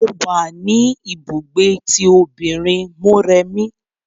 Mo wa ní ibùgbé tí òbinrín Mọ́remí.